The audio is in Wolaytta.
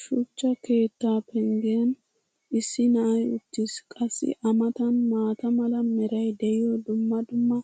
shuchcha keettaa penggen issi na"ay uttiis. qassi a matan maata mala meray diyo dumma dumma